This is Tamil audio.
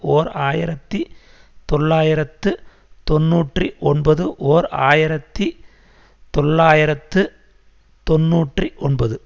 ஓர் ஆயிரத்தி தொள்ளாயிரத்து தொன்னூற்றி ஒன்பது ஓர் ஆயிரத்தி தொள்ளாயிரத்து தொன்னூற்றி ஒன்பது